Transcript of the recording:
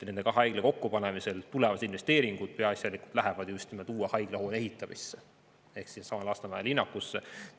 Nende haiglate kokkupanemisel lähevad tulevased investeeringud peaasjalikult uue haiglahoone ehitamisse ehk Lasnamäe linnakusse.